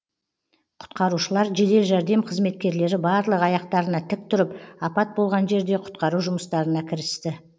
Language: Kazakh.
құтқарушылар жедел жәрдем қызметкерлері барлығы аяқтарына тік тұрып апат болған жерде құтқару жұмыстарына кірісті